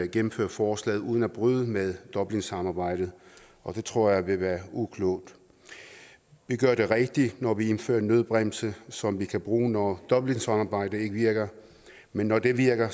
gennemføre forslaget uden at bryde med dublinsamarbejdet og det tror jeg vil være uklogt vi gør det rigtige når vi indfører en nødbremse som vi kan bruge når dublinsamarbejdet ikke virker men når det virker